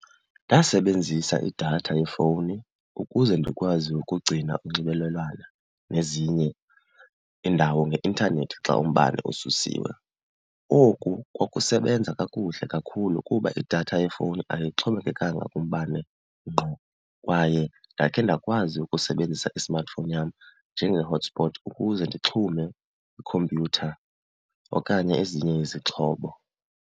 Ndasebenzisa idatha yefowuni ukuze ndikwazi ukugcina unxibelelwano nezinye iindawo ngeintanethi xa umbane ususiwe. Oku kwakusebenza kakuhle kakhulu kuba idatha yefowuni ayixhomekekanga kumbane ngqo kwaye ndakhe ndakwazi ukusebenzisa i-smartphone yam njenge-hotspot ukuze ndixhume ikhompyutha okanye ezinye izixhobo.